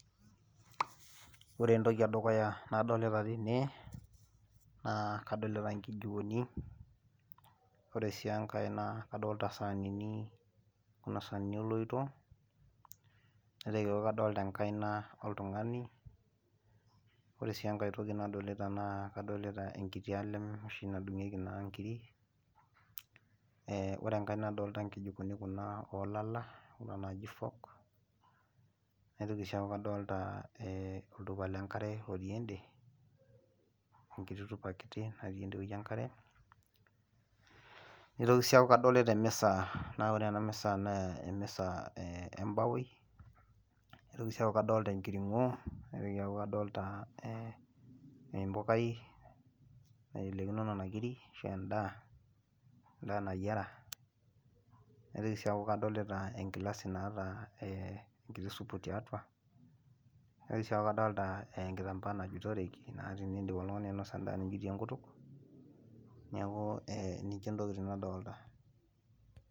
ore entoki edukuya nadoolita tene, naa kadolita nkijikoni, ore sii enkae naa kadoolta saanini, kuna saanini oloito. naitoki aaku kadolita enkaina oltungani. iyiolo sii enkae toki nadolita naa kadolita enkiti alem nadung'ieki naa nkiri.ee ore enkae nadooolta nkijikoni oolalal kuna naaji folk naitoki sii aaku kadolita oltupa lenkare otii ede, olkiti tupa kiti tede wueji lenkare, nitoki sii aaku kadolita emisa naa ore ena misa naa ene baoi ,nitoki sii aaku kadolita enkiring'o. naitoki aaku kadolita empukai, naitelekino nena kiri ahu edaa. edaa nayiera. naitoki sii aku kadolita enkilasi naata enkiti supu tiatua. naitoki sii aaku kadolta enkitampaa najutorki naa tenidi[ oltungani ainosa nijutie enkutuk. neeku ninche ntokitin nadoolta.